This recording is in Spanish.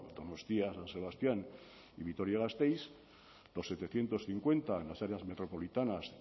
donostia san sebastián y vitoria gasteiz los setecientos cincuenta en las áreas metropolitanas